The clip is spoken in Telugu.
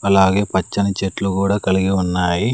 అలాగే పచ్చని చెట్లు కూడా కలిగి ఉన్నాయి.